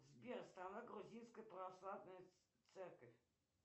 сбер страна грузинской православной церковь